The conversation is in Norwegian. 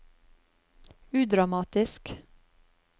udramatisk